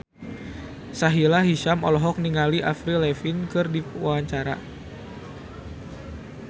Sahila Hisyam olohok ningali Avril Lavigne keur diwawancara